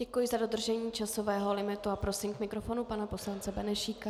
Děkuji za dodržení časového limitu a prosím k mikrofonu pana poslance Benešíka.